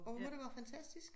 Og hvor må det være fantastisk